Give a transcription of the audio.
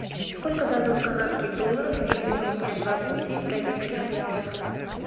сколько дадут канадских долларов если поменять двадцать семь бразильских реалов